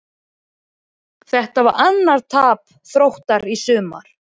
Þetta var annað tap Þróttara í sumar.